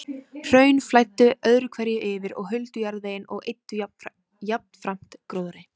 Hraun flæddu öðru hverju yfir og huldu jarðveginn og eyddu jafnframt gróðri.